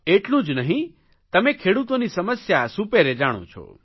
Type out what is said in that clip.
એટલું જ નહીં તમે ખેડૂતોની સમસ્યા સુપેરે જાણો છો